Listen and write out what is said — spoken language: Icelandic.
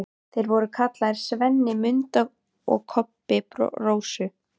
Þeir voru kallaðir SVENNI MUNDU og KOBBI RÓSU.